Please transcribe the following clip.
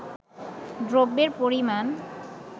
দ্রব্যের পরিমাণ